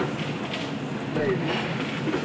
Fløyrli